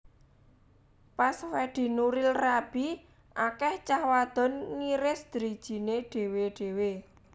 Pas Fedi Nuril rabi akeh cah wadon ngiris drijine dewe dewe